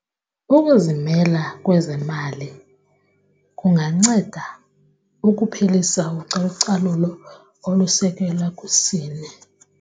Ukuzimela kwezemali kunganceda ukuphelisa ucalucalulo olusekelwa kwisini.